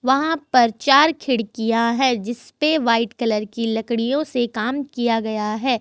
वहां पर चार खिड़कियां है जिस पे वाइट कलर की लकड़ियों से काम किया गया है।